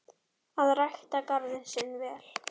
Að rækta garðinn sinn vel.